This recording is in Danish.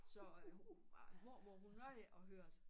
Så øh mormor hun nåede ikke at høre det